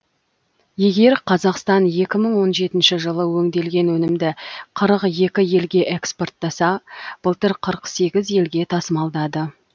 егер қазақстан екі мың он жетінші жылы өңделген өнімді қырық екі елге экспорттаса былтыр қырық сегіз елге тасымалдады